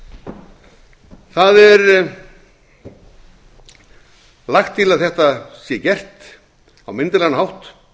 ári það er lagt til að þetta sé gert á myndarlegan hátt